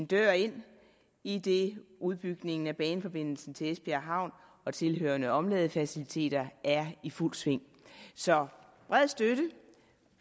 dør ind idet udbygningen af baneforbindelsen til esbjerg havn og tilhørende omladefaciliteter er i fuldt sving så bred støtte